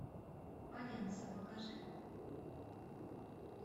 валенса покажи